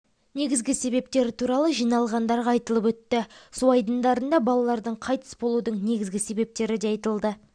негізгі себептері туралы жиналғандарға айтылып өтті су айдындарында балалардың қайтыс болудың негізгі себептері де айтылды